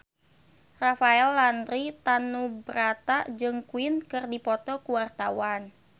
Rafael Landry Tanubrata jeung Queen keur dipoto ku wartawan